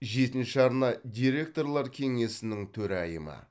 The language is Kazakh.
жетінші арна директорлар кеңесінің төрайымы